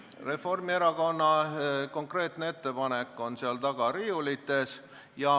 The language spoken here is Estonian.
Reformierakonna konkreetne ettepanek on seal taga riiulites.